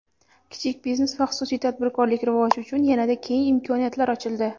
Kichik biznes va xususiy tadbirkorlik rivoji uchun yanada keng imkoniyatlar ochildi.